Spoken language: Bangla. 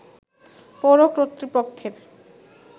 পৌর কর্তৃপক্ষের